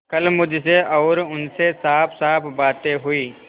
कल मुझसे और उनसे साफसाफ बातें हुई